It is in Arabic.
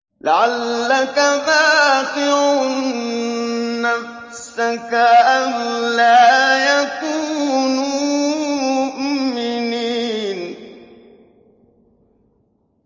لَعَلَّكَ بَاخِعٌ نَّفْسَكَ أَلَّا يَكُونُوا مُؤْمِنِينَ